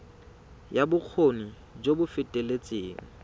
ya bokgoni jo bo feteletseng